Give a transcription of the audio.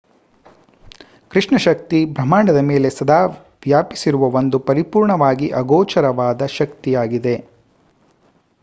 ಕೃಷ್ಣ ಶಕ್ತಿ ಬ್ರಹಾಂಡದ ಮೇಲೆ ಸದಾ ವ್ಯಾಪಿಸಿರುವ ಒಂದು ಪರಿಪೂರ್ಣವಾಗಿ ಆಗೋಚರವಾದ ಶಕ್ತಿಯಾಗಿದೆ